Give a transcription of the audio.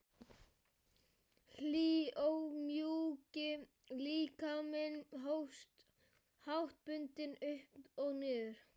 Hlýi og mjúki líkaminn hófst háttbundið upp og niður.